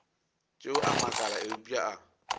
tšeo a makala eupša a